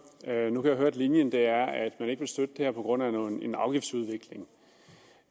nu kan jeg høre at linjen er at man ikke vil støtte det her på grund af en afgiftsudvikling